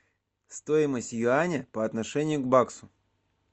стоимость юаня по отношению к баксу